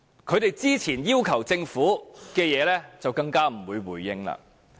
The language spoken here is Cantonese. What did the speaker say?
他們之前要求政府的事情，政府更不會回應。